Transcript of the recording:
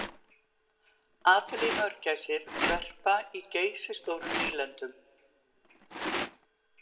Adeliemörgæsir verpa í geysistórum nýlendum.